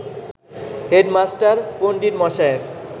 "headmaster পণ্ডিতমশায়ের